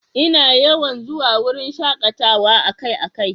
Ina yawan zuwa wurin shakatawa akai-akai.